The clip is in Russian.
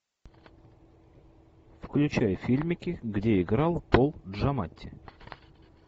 включай фильмики где играл пол джаматти